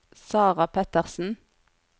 Sarah Petersen